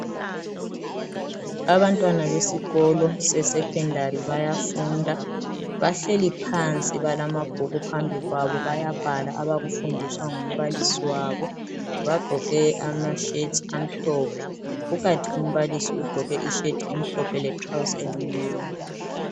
abantwana besikolo se secondary bayafunda bahleli phansi balamabhuku phambi kwabo bayabhala abaku fundiswa ngumbalisi wabo bagqoke ama shirt amhlophe kukanti umbalisi ugqoke i shirt emhlophe le trouse elimnyama